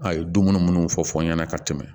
A ye dumuni munnu fɔ fɔ n ɲɛna ka tɛmɛ